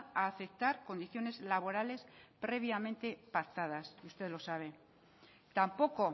a aceptar condiciones laborales previamente pactadas usted lo sabe tampoco